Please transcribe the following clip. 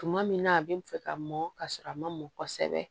Tuma min na a bɛ n fɛ ka mɔn ka sɔrɔ a ma mɔn kosɛbɛ